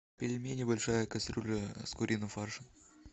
пельмени большая кастрюля с куриным фаршем